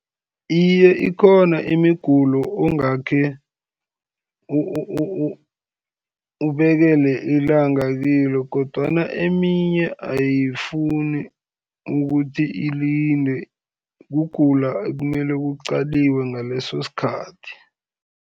Iye, ikhona imigulo ongakhe ubekele ilanga kilo, kodwana eminye ayifuni ukuthi ilinde, kugula ekumele kuqaliwe ngaleso sikhathi,